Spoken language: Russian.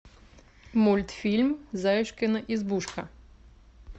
мультфильм заюшкина избушка